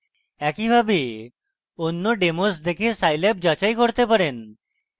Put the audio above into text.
একইভাবে অন্য ডেমোস দেখে scilab যাচাই করতে পারেন